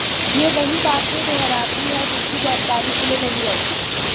ये वही बाते दुहराते हैं जिसकी जानकारी इन्हें नहीं रहती